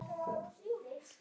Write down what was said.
Laun hafa svo hækkað meira.